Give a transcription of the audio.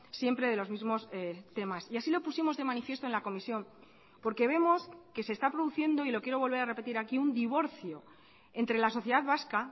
siempre de los mismos temas y así lo pusimos de manifiesto en la comisión porque vemos que se está produciendo y lo quiero volver a repetir aquí un divorcio entre la sociedad vasca